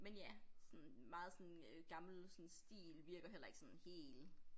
Men ja sådan meget sådan øh gammel sådan stil virker heller ikke sådan hel